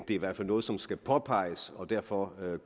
i hvert fald noget som skal påpeges og derfor